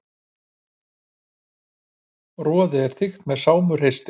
Roðið er þykkt með smáu hreistri.